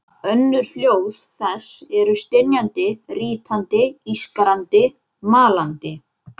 Önnur hljóð þess eru stynjandi, rýtandi, ískrandi, malandi.